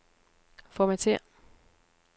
Formatér.